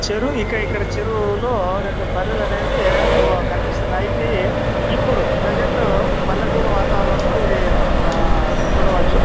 చేరు ఇక్కడ చెరువు లో రెండు బర్రెలనేవి కనిపిస్తున్నాయి ఇప్పిడు ప్రెసెంట్ పల్లెటూరు వాతావరంలో ఇది మనం చుడొవచ్చు --